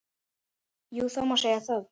Jú það má segja það.